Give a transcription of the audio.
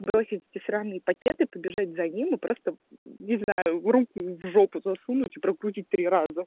бросить эти сраные пакеты побежать за ним и просто не знаю руку в жопу засунуть и прокрутить три раза